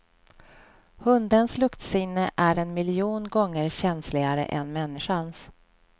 Hundens luktsinne är en miljon gånger känsligare än människans.